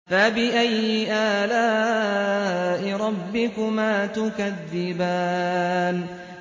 فَبِأَيِّ آلَاءِ رَبِّكُمَا تُكَذِّبَانِ